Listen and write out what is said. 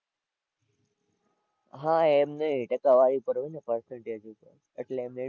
હાં એમ નહીં ટકાવારી પર હોય ને percentage ઉપર એટલે